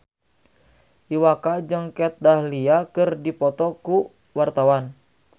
Iwa K jeung Kat Dahlia keur dipoto ku wartawan